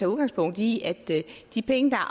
udgangspunkt i de penge der